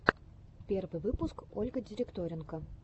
первый выпуск ольга директоренко